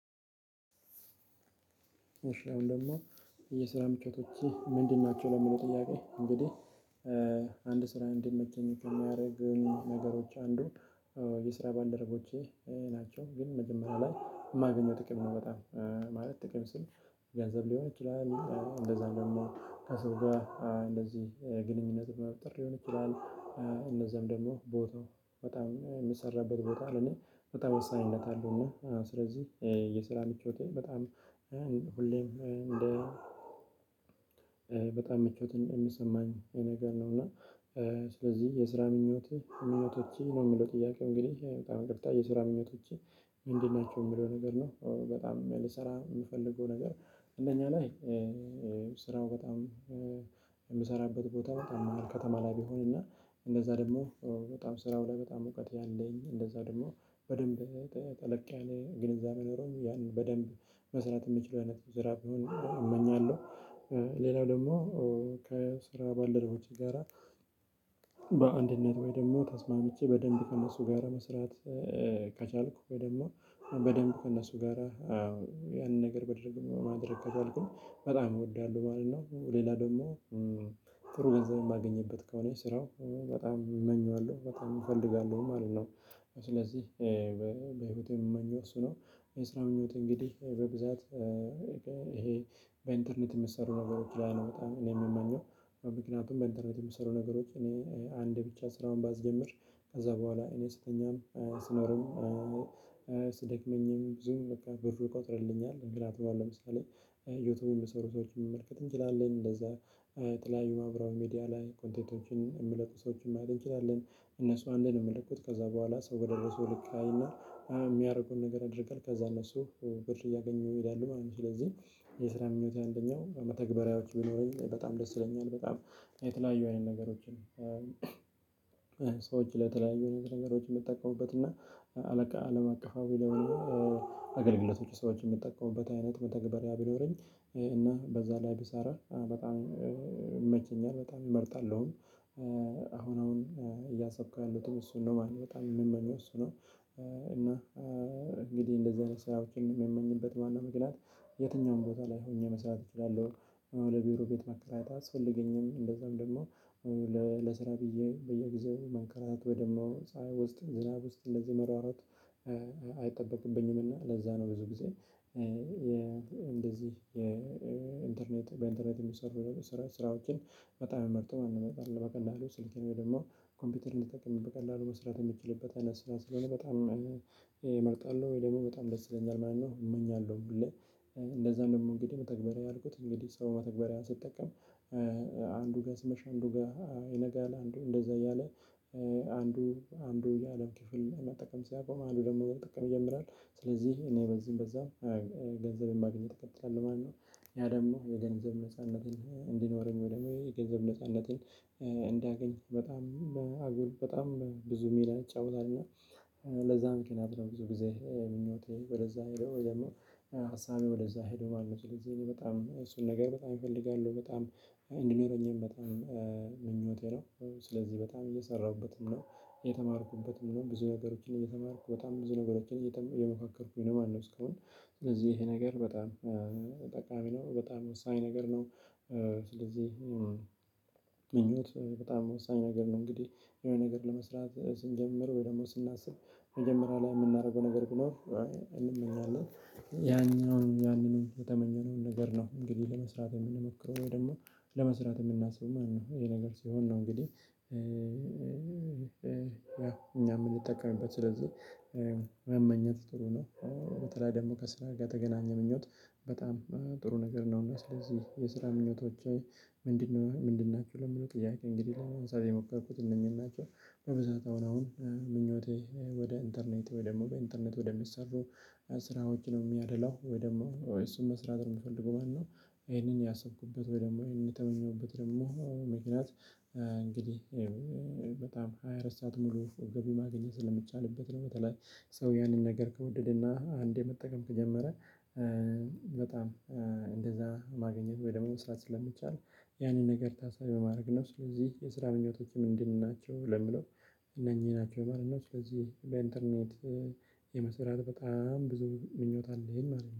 እሺ አሁን ደግሞ የስራ ምቾት እቺ ምንድን ናቸው ለምንድነው? ጥያቄ እንግዲህ አንድ ስራ እንድንመቸኝ ከሚያደርጉን ነገሮች አንዱ የስራ ባልደረቦቼ ናቸው። ግን መጀመሪያ ላይ የማገኘው ጥቅም ነው። በጣም ማለት ጥቅም ስል። ገንዘብ ሊሆን ይችላል እንደዛ ደግሞ ከሰው ጋር ግንኙነት መፍጠር ሊሆን ይችላል። እነዛም ደግሞ ቦታው በጣም የምሰራበት ቦታ ነው ለኔ በጣም ወሳኝነት አለው። እና ስለዚህ የስራ ምቾት በጣም ሁሌም እንደ በጣም ምቾትን የሚሰማኝ የነገር ነው። እና ስለዚህ የስራ ምኞቴ የሚለው ትይይዜ ነው የሚለው ጥያቄ እንግዲህ በጣም እንቅልፍ የስራ ምኞቶች ምንድን ናቸው የሚለው ነገር ነው። በጣም የምሰራ የምፈልገው ነገር አንደኛ ላይ ስራው በጣም የምሰራበት ቦታ በጣም ከተማ ላይ ቢሆን እና እንደዛ ደግሞ በጣም ስራው ላይ በጣም እውቀት ያለኝ እንደዛ ደግሞ በደንብ ጠለቅ ያለ ግንዛቤ ኖሮኝ ያንን በደንብ መስራት የሚችለው አይነት ዝራብ እመኛለሁ። ሌላው ደግሞ ከስራ ባልደረቦች ጋራ በአንድነት ወይ ደግሞ ተስማምቼ በደንብ ከእነሱ ጋር መስራት ከቻልኩ ወይ በደንብ በደንብ ከእነሱ ጋራ ያንን ነገር በድርግ ማድረግ ከቻልኩም በጣም እወዳለሁ ማለት ነው። ሌላ ደግሞ ገንዘብ የማገኝበት ከሆነ ስራው በጣም እመኛለሁ በጣም እፈልጋለሁ ማለት ነው። ስለዚህ በህይወቴ የምመኘው እሱ ነው። የስራ ምኞት እንግዲህ በብዛት ይሄ በኢንተርኔት የምትሰሩ ነገሮች ላይ ነው። በጣም እኔ የምመኘው በምክንያቱም በኢንተርኔት የምትሰሩ ነገሮች እኔ አንድ ብቻ ስራውን ባስጀምር ከዛ በኋላ እኔ ስተኛም ስኖርም ስደክመኝም ብዙ በቃ ብር ይቆጥርልኛል። እንግዳ ተባለ ለምሳሌ እዮተውን በሰሩ ሰዎች የሚመልከት እንችላለን እንደዛ ተለያዩ ማብራሪያ ሚዲያ ላይ ኮንቴንቶችን የምለቁ ሰዎችን ማድረግ እንችላለን። እነሱ አንድ ነው የምለቅል ከዛ በኋላ ሰው በደረሰው አይና የሚያደርገውን ነገር አድርገህ ከዛ እነሱ ብር እያገኘው ይሄዳል ማለት ነው። ስለዚህ የስራ ምኞቴ አንደኛው በተግባራዊዎች ቢኖረኝ በጣም ደስ ይለኛል። በጣም የተለያዩ አይነት ነገሮችን ሰዎች ለተለያዩ ነገሮች የምትጠቀሙበት እና አለቃ አለም አቀፋዊ ለውስጥ አገልግሎቶቹ ሰዎች የሚጠቀሙበት አይነት መተግበሪያ ቢኖረኝ። እና በዛ ላይ ቢሰራ በጣም ይመቸኛል በጣም ይመርጣለሁኝ አሁን አሁን እያሰብኩ ያሉትን እሱን ነው ማለት ነው በጣም የምመኘው እሱ ነው። እና እንግዲህ እንደዚህ አይነት ሰዎችን የሚመኝበት ማን ነው? መግለጽ የትኛውም ቦታ ላይ ሆኜ መስራት እችላለሁ። ለቢሮ ቤት መከራታ አስፈለገኝም እንደዛም ደግሞ ለስራ ብዬ በየጊዜው መንከራታት ወይ ደግሞ ፀሀይ ውስጥ ዝናብ ውስጥ እንደዚህ መሯሯጥ አይጠበቅብኝምና ለዛ ነው። ብዙ ጊዜ እንደዚህ የኢንተርኔት በኢንተርኔት የሚሰሩ ስራዎችን በጣም የመርጠው አለመቀላሉ ስልኬን ደግሞ ኮምፒውተር እንዲጠቅም በቀላሉ መስራት የምትችልበት አይነት ስራ ስለሆነ በጣም እመርጣለሁ። ወይ ደግሞ በጣም ደስ ይለኛል ማለት ነው። እመኛለሁ ብለህ እንደውም እንግዲህ መተግባራዊ አልኩት እንግዲህ ሰው መተግባራዊ ሲጠቀም አንዱ ጋር ስመሽ አንዱ ጋር ይነጋል አንዱ እንደዛ እያለ አንዱ አንዱ የአለም ክፍል መጠቀም ሲያቆም አንዱ ደግሞ ጥቅም ይጀምራል። ስለዚህ እኔ በዚህም በዛም ገንዘብ የማግኘት ትከተላለህ ማለት ነው። ያ ደግሞ የገንዘብ ነጻነትን እንዲኖረን ወደ ገንዘብ ነጻነትን እንዳገኝ በጣም አጉል በጣም ብዙ ሚዲያ ይጫወታል። እና ለዛ ምክንያት ነው ብዙ ጊዜ ምኞቴ ወደዛ ሄደው ደግሞ ሀሳቤ ወደዛ ሄደው ማለት ነው። ስለዚህ በጣም እሱን ነገር በጣም እፈልጋለሁ በጣም እንድንረኝም በጣም ምኞቴ ነው። ስለዚህ በጣም እየሰራሁበትም ነው የተማርኩበትም ነው ብዙ ነገሮችን እየተማርኩ በጣም ብዙ ነገሮችን እየሞካከርኩኝ ነው ማለት ነው። እስካሁን ስለዚህ ይሄ ነገር በጣም ጠቃሚ ነው። በጣም ወሳኝ ነገር ነው። ስለዚህ ምኞት በጣም ወሳኝ ነገር ነው። እንግዲህ የሆነ ነገር ለመስራት ስንጀምር ወይ ደግሞ ስናስብ መጀመሪያ ላይ የምናደርገው ነገር ቢኖር እንመኛለን ያኛውን ያንን የተመኘነውን ነገር ነው። እንግዲህ ለመስራት የምንመክረው ወይ ደግሞ ለመስራት የምናስበው ማነው ይሄ ነገር ሲሆን ነው። እንግዲህ እኛ የምንጠቀምበት ስለዚህ መመኘት ጥሩ ነው። በተለይ ደግሞ ከስራ ጋር የተገናኘ ምኞት በጣም ነገር ነው። እና ስለዚህ የስራ ምኞቶች ምንድነው? ምንድን ነው ምንድናቸው ለምለው ቅያት እንግዲህ ላይ የሞከርኩት እነኚህን ናቸው። በብዛት አሁን አሁን ምኞቴ ወደ ኢንተርኔት ወይ ደግሞ በኢንተርኔት ወደሚሰሩ ስራዎች ነው። የሚያድለው ወይ ደግሞ እሱን መስራት የምፈልገው ማለት ነው። ይሄንን ያሰብኩበት ወይ ደግሞ ይሄንን የተመኘሁበት ደግሞ ምክንያት እንግዲህ በጣም ሃያ አራት ሰዓት ሙሉ ገቢ ማግኘት ስለምቻልበት ነው። በተለይ ሰው ያንን ነገር ከወደድና አንዴ መጠቀም ከጀመረ በጣም እንደዛ ማገኘት ወይ ደግሞ መስራት ስለሚቻል ያንን ነገር ታሳቢ በማድረግ ነው። ስለዚህ የስራ መንገዶችም ምንድናቸው? ለምለው እነኚህ ናቸው ማለት ነው። ስለዚህ በኢንተርኔት የመሰራት በጣም ብዙ ምኞት አለኝ ማለት ነው